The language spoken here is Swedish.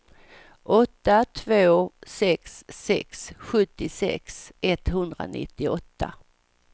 åtta två sex sex sjuttiosex etthundranittioåtta